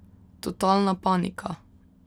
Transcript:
Totalna panika!